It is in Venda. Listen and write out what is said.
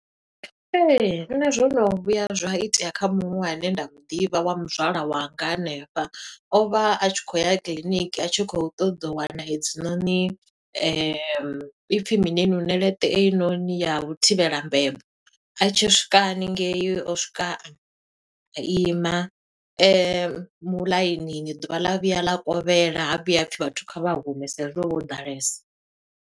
Ee, nṋe zwo no vhuya zwa itea kha muṅwe ane nda mu ḓivha wa muzwala wanga hanefha. O vha a tshi khou ya kiḽiniki a tshi khou ṱoḓa u wana hedzinoni , ipfi mini einoni ṋeleṱe einoni ya u thivhela mbebo. A tshi swika haningei o swika a ima muḽainini, ḓuvha ḽa vhuya ḽa kovhela, ha vhuya ha pfi vhathu kha vha hume sa i zwi ho vha ho ḓalesa.